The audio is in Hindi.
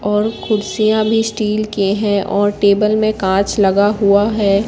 और कुर्सियां भी स्टील के है और टेबल में कांच लगा हुआ है।